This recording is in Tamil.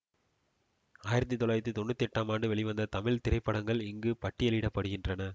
ஆயிரத்தி தொள்ளாயிரத்தி தொன்னூற்தி எட்டாம் ஆண்டு வெளிவந்த தமிழ் திரைப்படங்கள் இங்கு பட்டியலிட படுகின்றன